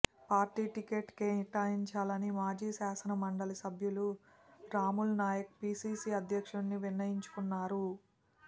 party ticket కేటాయించాలని మాజీ శాసనమండలి సభ్యులు రాములునాయక్ పీసీసీ అధ్యక్షునికి విన్నవించుకున్నారు